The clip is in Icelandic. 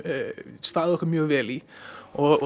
staðið okkur mjög vel í og